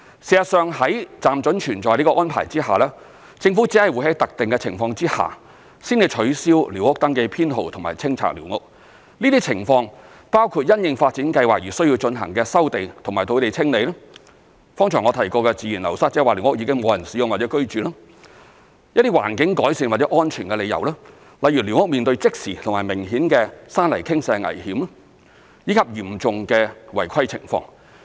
事實上，在"暫准存在"這個安排下，政府只會在特定的情況下，才取消寮屋登記編號和清拆寮屋，這些情況包括因應發展計劃而須進行的收地和土地清理；剛才我提及的自然流失，即寮屋已沒有人使用或居住；一些環境改善或安全的理由，例如寮屋面對即時和明顯的山泥傾瀉危險，以及嚴重的違規情況。